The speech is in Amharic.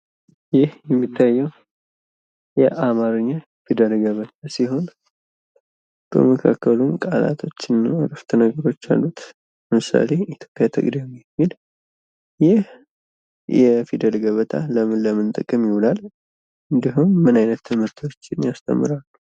ይህ የሚታየው የአማርኛ ፊደል ገበታ ሲሆን፤ በመካከሉም ቃላቶችና አረፍተነገሮች አሉት። ለምሳሌ ፦ ኢትዮጵያ ትቅደም የሚል። ይህ የፊደል ገበታ ለምን ለምን ጥቅም ይውላል? እንዲሁም ምን አይነት ትምህርቶችን ያስተምራል?